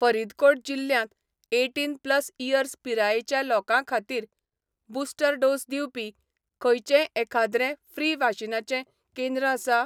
फरीदकोट जिल्ल्यांत eighteen plus years पिरायेच्या लोकांखातीर, बुस्टर डोस दिवपी, खंयचेंय एखाद्रें फ्री वाशिनाचें केंद्रआसा?